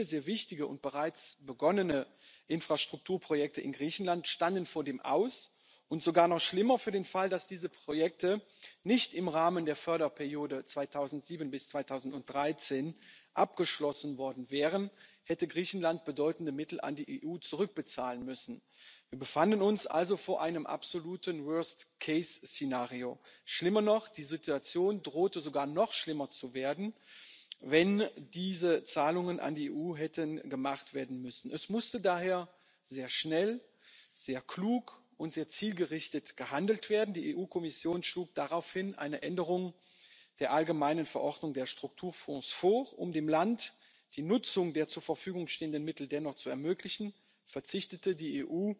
Herr Präsident, sehr geehrte Frau Kommissarin, sehr geehrte Kolleginnen und Kollegen! Wir alle erinnern uns an das Jahr 2015, das vor allem für unsere griechischen Freunde sehr schmerzhaft war. Im Kontext der schweren griechischen Finanz und Wirtschaftskrise konnte das Land nämlich die nötigen Kofinanzierungsanteile für die Projekte der Strukturfonds nicht mehr garantieren und gewährleisten. Es waren ganz einfach keine öffentlichen Mittel da. Das hieß ganz konkret Viele sehr wichtige und bereits begonnene Infrastrukturprojekte in Griechenland standen vor dem Aus, und sogar noch schlimmer Für den Fall, dass diese Projekte nicht im Rahmen der Förderperiode 2007 bis 2013 abgeschlossen worden wären, hätte Griechenland bedeutende Mittel an die EU zurückzahlen müssen. Wir befanden uns also vor einem absoluten Worst Case Szenario. Die Situation drohte sogar noch schlimmer zu werden, wenn diese Zahlungen an die EU hätten geleistet werden müssen. Es musste daher sehr schnell, sehr klug und sehr zielgerichtet gehandelt werden. Die EU Kommission schlug daraufhin eine Änderung der allgemeinen Verordnung der Strukturfonds vor Um dem Land die Nutzung der zur Verfügung stehenden Mittel dennoch zu ermöglichen, verzichtete die EU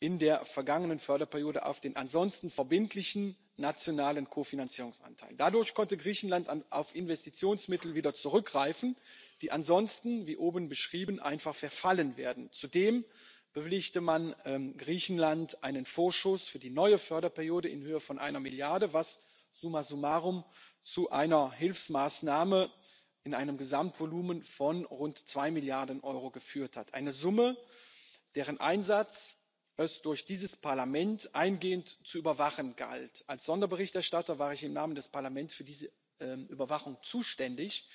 in der vergangenen Förderperiode auf den ansonsten verbindlichen nationalen Kofinanzierungsanteil. Dadurch konnte Griechenland auf Investitionsmittel wieder zurückgreifen, die ansonsten, wie oben beschrieben, einfach verfallen wären. Zudem bewilligte man Griechenland einen Vorschuss für die neue Förderperiode in Höhe von einer Milliarde, was summa summarum zu einer Hilfsmaßnahme in einem Gesamtvolumen von rund zwei Milliarden Euro geführt hat, einer Summe, deren Einsatz es durch dieses Parlament eingehend zu überwachen galt. Als Sonderberichterstatter war ich im Namen des Parlaments für diese Überwachung zuständig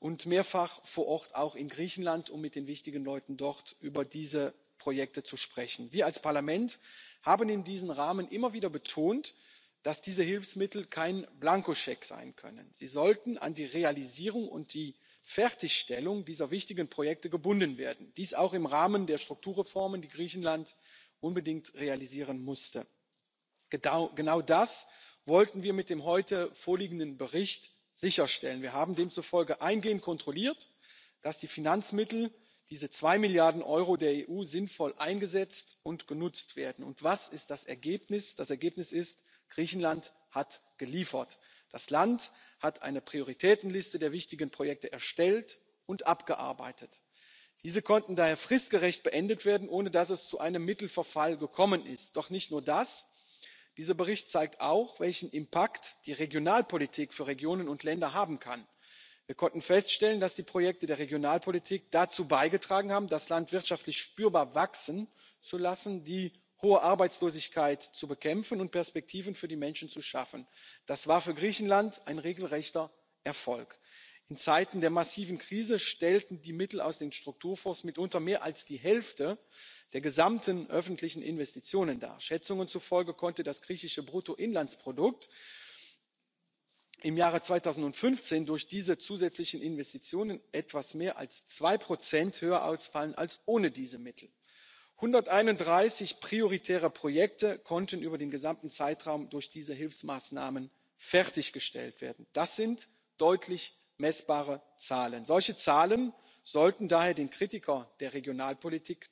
und mehrfach vor Ort, auch in Griechenland, um mit den wichtigen Leuten dort über diese Projekte zu sprechen. Wir als Parlament haben in diesem Rahmen immer wieder betont, dass diese Hilfsmittel kein Blankoscheck sein können. Sie sollten an die Realisierung und die Fertigstellung dieser wichtigen Projekte gebunden werden dies auch im Rahmen der Strukturreformen, die Griechenland unbedingt realisieren musste. Genau das wollten wir mit dem heute vorliegenden Bericht sicherstellen. Wir haben demzufolge eingehend kontrolliert, dass die Finanzmittel, diese zwei Milliarden Euro der EU, sinnvoll eingesetzt und genutzt werden. Und was ist das Ergebnis? Das Ergebnis ist Griechenland hat geliefert. Das Land hat eine Prioritätenliste der wichtigen Projekte erstellt und abgearbeitet. Diese konnten daher fristgerecht beendet werden, ohne dass es zu einem Mittelverfall gekommen ist. Doch nicht nur das Dieser Bericht zeigt auch, welche Auswirkungen die Regionalpolitik für Regionen und Länder haben kann. Wir konnten feststellen, dass die Projekte der Regionalpolitik dazu beigetragen haben, das Land wirtschaftlich spürbar wachsen zu lassen, die hohe Arbeitslosigkeit zu bekämpfen und Perspektiven für die Menschen zu schaffen. Das war für Griechenland ein regelrechter Erfolg. In Zeiten der massiven Krise stellten die Mittel aus den Strukturfonds mitunter mehr als die Hälfte der gesamten öffentlichen Investitionen dar. Schätzungen zufolge konnte das griechische Bruttoinlandsprodukt im Jahre 2015 durch diese zusätzlichen Investitionen etwas mehr als zwei Prozent höher ausfallen als ohne diese Mittel. 131 prioritäre Projekte konnten über den gesamten Zeitraum durch diese Hilfsmaßnahmen fertiggestellt werden. Das sind deutlich messbare Zahlen. Solche Zahlen sollten daher den Kritikern der Regionalpolitik